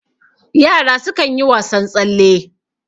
yara sukan yi wasan tsalle